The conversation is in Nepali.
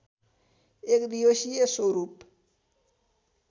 एकदिवसीय स्वरूप